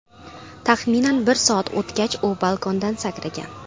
Taxminan bir soat o‘tgach u balkondan sakragan.